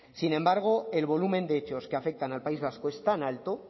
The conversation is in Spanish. sin embargo el volumen de hechos que afectan al país vasco es tan alto